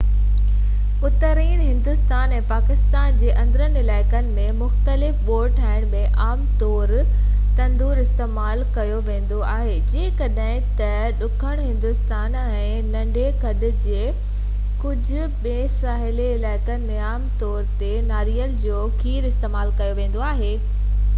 اترئين هندستان ۽ پاڪستان جي اندرين علائقن ۾ مختلف ٻوڙ ٺاهڻ ۾ عام طور ڌونئرواستعمال ڪيو ويندو آهي جڏهن ته ڏکڻ هندستان ۽ ننڍي کنڊ جي ڪجهه ٻين ساحلي علائقن ۾ عام طور تي ناريل جو کير استعمال ڪيو ويندو آهي